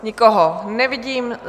Nikoho nevidím.